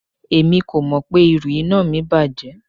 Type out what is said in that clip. Emi ko mọ pe iru ina mi bajẹ